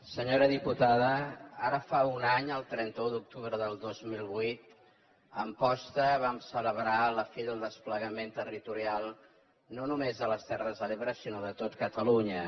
senyora diputada ara fa un any el trenta un d’octubre del dos mil vuit a amposta vam celebrar la fi del desplegament territorial no només a les terres de l’ebre sinó de tot catalunya